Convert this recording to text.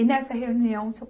E nessa reunião, o Seu